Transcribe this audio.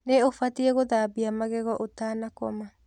Nĩ ũbatiĩ gũthambia magego ũtanakoma.